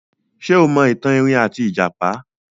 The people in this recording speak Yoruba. Ṣé o mọ ìtàn erin àti ìjàpá?